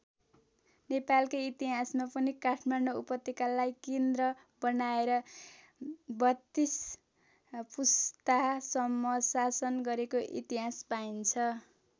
नेपालकै इतिहासमा पनि काठमाडौँ उपत्यकालाई केन्द्र बनाएर ३२ पुस्तासम्म शासन गरेको इतिहास पाइन्छ।